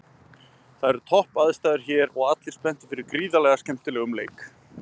Það eru topp aðstæður hér og allir spenntir fyrir gríðarlega skemmtilegum leik